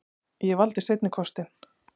Ég valdi seinni kostinn.